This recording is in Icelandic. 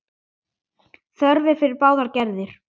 Þörf er fyrir báðar gerðir.